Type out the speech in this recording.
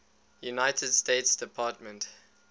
united states department